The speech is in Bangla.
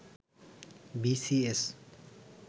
B C S